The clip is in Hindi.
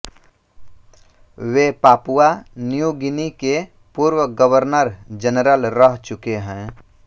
वे पापुआ न्यू गिनी के पूर्व गवर्नरजनरल रह चुके हैं